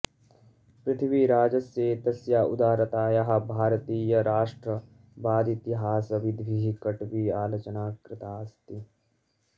पृथ्वीराजस्य एतस्याः उदारतायाः भारतीयराष्ट्रवादीतिहासविद्भिः कट्वी आलोचना कृता अस्ति